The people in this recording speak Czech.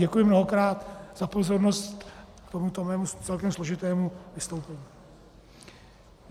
Děkuji mnohokrát za pozornost k tomuto mému celkem složitému vystoupení.